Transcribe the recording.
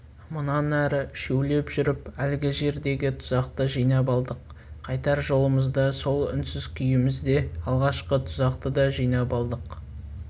мұнан әрі үшеулеп жүріп әлгі жердегі тұзақты жинап алдық қайтар жолымызда сол үнсіз күйімізде алғашқы тұзақты да жинап алдық